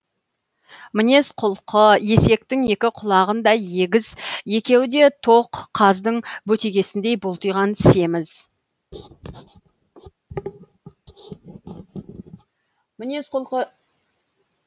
мінез құлқы есектің екі құлағындай егіз екеуі де тоқ қаздың бөтегесіндей бұлтиған семіз